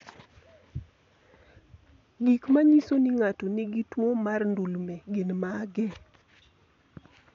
Gik manyiso ni ng'ato nigi tuwo mar ndulme, gin mage?